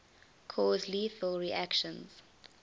cause lethal reactions